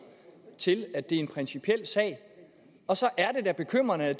til nemlig at det er en principiel sag og så er det da bekymrende at